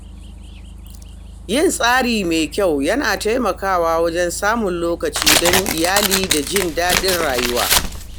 Yin tsari mai kyau yana taimakawa wajen samun lokaci don iyali da jin daɗin rayuwa.